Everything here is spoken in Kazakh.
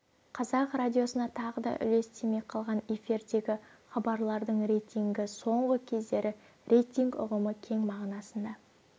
қазақ радиосына тағы да үлес тимей қалған эфирдегі хабарлардың рейтингі соңғы кездері рейтинг ұғымы кең мағынасында